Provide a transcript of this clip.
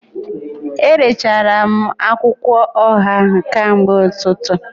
Erechara m akwụkwọ ọha ahụ kamgbe ụtụtụ